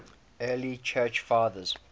early church fathers